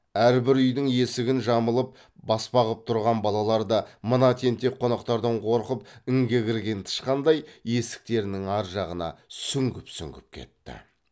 әрбір үйдің есігін жамылып баспа ғып тұрған балалар да мына тентек қонақтардан қорқып інге кірген тышқандай есіктерінің ар жағына сүңгіп сүңгіп кетті